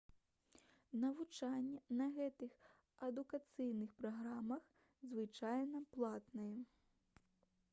навучанне на гэтых адукацыйных праграмах звычайна платнае